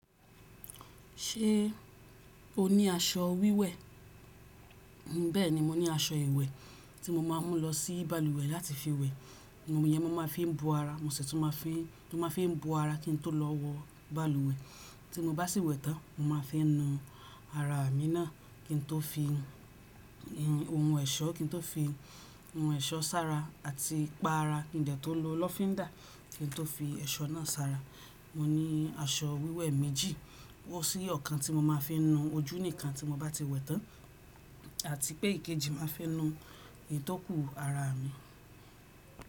Ṣé o ní aṣọ wíwẹ̀? Bẹ́ẹ̀ni mo ní aṣọ ìwẹ̀ tí mo máa ń mú lọ sí balùwẹ̀ láti fi wẹ̀. Òòrùn yẹn mo máa fi ń bu ara, mo sì tún máa fi ń, tún máa fi ń bu ara kí n tó lọ wọ balùwẹ̀. Tí mo bá sì wẹ̀ tán, mo máa fi ń nu ara mi náà kí n tó fi nu ìhun, ohun ẹ̀ṣọ́ kí n tó fi ohun ẹ̀ṣọ́ sara àti pa ara kí n dẹ́ tó lo lọfindà kí n tó fi ẹ̀ṣọ́ náà sara. Mo ní aṣọ wíwẹ̀ méjì, wó sí ọ̀kan tí mo máa fi ń nu ojú ní ìkan tí mo bá ti wẹ̀ tán àti pé èkejì máa fi ń nu ìtọ́kù ara mi.